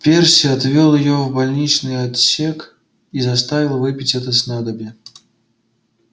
перси отвёл её в больничный отсек и заставил выпить это снадобье